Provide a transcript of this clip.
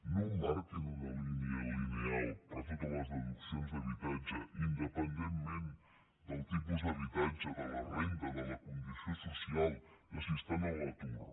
no marquin una línia lineal per a totes les deduccions d’habitatge independentment del tipus d’habitatge de la renda de la condició social de si estan a l’atur